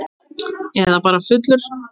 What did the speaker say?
Eða bara fullur.